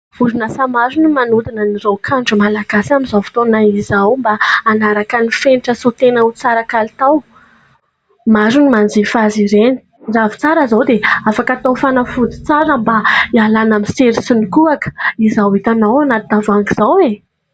Orinasa maro no manodina ny raokandro malagasy amin'izao fotona izao mba hanaraka ny fenitra sy ho tena tsara kalitao, maro ny manjifa azy ireny ! Ravintsara izao dia afaka atao fanafody tsara mba hialana amin'ny sery sy ny kohaka izao hitanao anaty tavoahangy izao e !